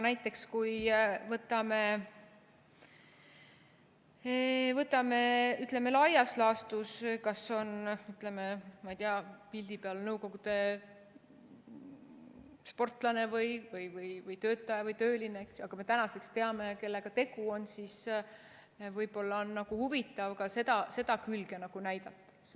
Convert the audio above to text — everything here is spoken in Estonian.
Näiteks, kui võtame laias laastus, kas pildi peal on, ma ei tea, Nõukogude sportlane või töötaja või tööline, aga me tänaseks teame, kellega tegu on, siis võib-olla on huvitav ka seda külge näidata.